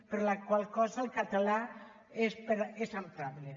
per la qual cosa el català és emprable